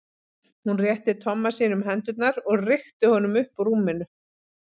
Hún rétti Tomma sínum hendurnar og rykkti honum upp úr rúminu.